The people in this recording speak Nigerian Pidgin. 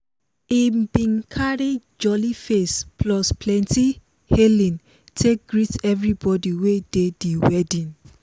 he bin carry jolly face plus plenti hailing take greet everbodi wey dey di wedding.